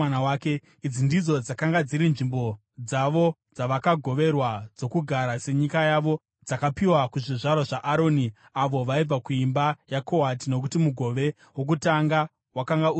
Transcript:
Idzi ndidzo dzakanga dziri nzvimbo dzavo dzavakagoverwa dzokugara senyika yavo (dzakapiwa kuzvizvarwa zvaAroni, avo vaibva kuimba yaKohati, nokuti mugove wokutanga wakanga uri wavo).